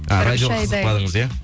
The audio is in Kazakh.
радиоға қызықпадыңыз иә